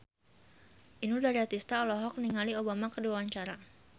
Inul Daratista olohok ningali Obama keur diwawancara